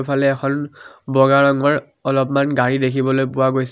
ফালে এখন বগা ৰঙৰ অলপমান গাড়ী দেখিবলৈ পোৱা গৈছে।